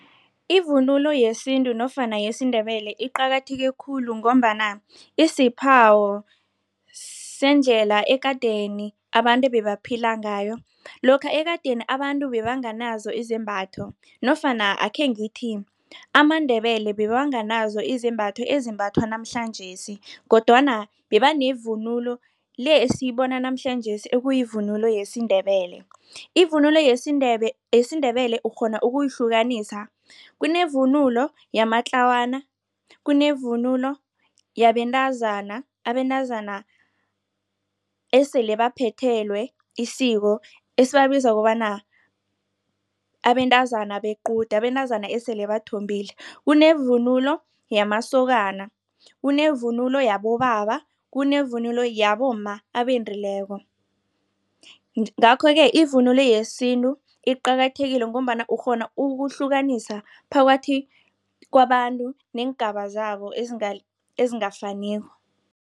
Ivunulo yesintu nofana yesiNdebele iqakatheke khulu, ngombana isiphawo sendlela ekadeni abantu ebebaphila ngayo. Lokha ekadeni abantu bebanganazo izembatho nofana akhe ngithi, amaNdebele bebanganazo izembatho ezimbathwa namhlanjesi kodwana beba nevunulo le esiyibona namhlanjesi ekuyivunulo yesiNdebele. Ivunulo yesiNdebele ukghona ukuyihlukanisa kunevunulo yamatlawana, kunevunulo yabentazana abentazana esele baphethelwe isiko, esibabiza kobana abentazana bequde, abentazana esele bathombile. Kunevunulo yamasokana, kunevunulo yabobaba, kunevunulo yabomma abendileko. Ngakho-ke ivunulo yesintu iqakathekile, ngombana ukghona ukuhlukanisa phakathi kwabantu neengaba zabo ezingafaniko.